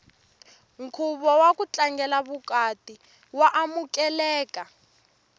nkhuvo waku tlangela vukati wa amukeleka